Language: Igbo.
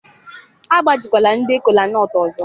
agbajikwala ndị kolanut ọzọ!